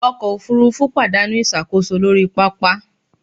Ọkọ̀ òfurufú pàdánù ìṣàkóso lórí pápá